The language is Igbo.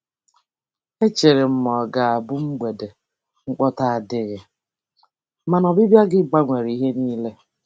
E chere m na ọ ga-abụ mgbede mkpọtụ adịghị, mana ọbịbịa gị gbanwere ihe niile.